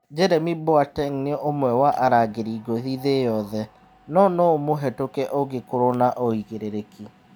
" Jeremi Mboate nĩ ũmwe wa arangĩri ngũthi thĩ yothe, no no-ũmũhetũke ũngĩkorwo na ũigĩrĩrĩki.